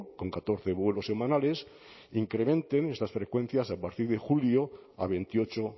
con catorce vuelos semanales incrementen estas frecuencias a partir de julio a veintiocho